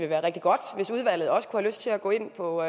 være rigtig godt hvis udvalget også kunne have lyst til at gå ind på